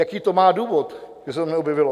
Jaký to má důvod, že se to neobjevilo?